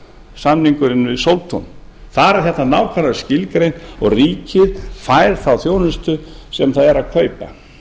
samningurinn við sóltún þar er þetta nákvæmlega skilgreint og ríkið fær þá þjónustu sem það er að kaupa